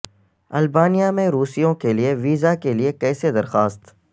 Albania میں روسیوں کے لئے ویزا کے لئے کیسے درخواست